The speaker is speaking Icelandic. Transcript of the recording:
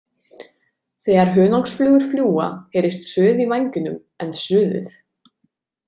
Þegar hunangsflugur fljúga heyrist suð í vængjunum en suðið.